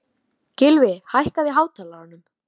Ég samþykkti því tilboðið án þess að hika.